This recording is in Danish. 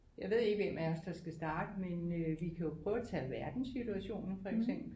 Jeg ved ikke hvem af os der skal starte men øh vi kan jo prøve at tage verdenssituationen for eksempel